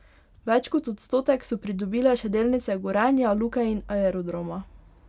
Več kot odstotek so pridobile še delnice Gorenja, Luke in Aerodroma.